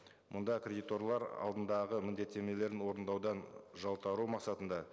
мұнда кредиторлар алдындағы міндеттемелерін орындаудан жалтару мақсатында